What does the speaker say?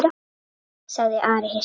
sagði Ari hissa.